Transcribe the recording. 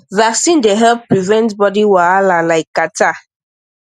vaccines dey help prevent body wahala like cattarh